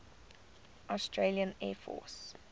australian air force